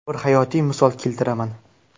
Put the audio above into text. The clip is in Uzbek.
Bir hayotiy misol keltiraman.